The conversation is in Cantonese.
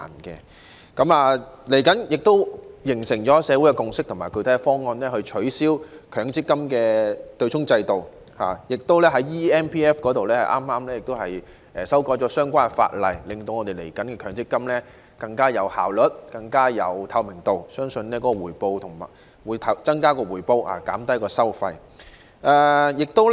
社會亦形成共識及具體方案，取消強制性公積金的對沖制度，而有關"積金易"平台的相關法例亦已修訂，令往後的強積金制度的運作更有效率和更具透明度，我相信亦可增加回報及減低收費。